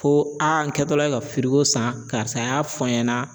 Ko n kɛtɔla ye ka san karisa a y'a fɔ n ɲɛna